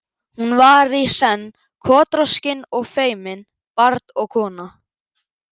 Hún var í senn kotroskin og feimin, barn og kona.